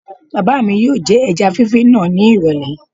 Bàbá mi yóò jẹ ẹja fífí náà ní ìrọ̀lẹ̀